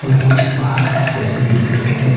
और कुछ पहाड़ जैसे दिख रहे है।